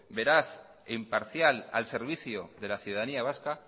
veraz e imparcial al servicio de la ciudadanía vasca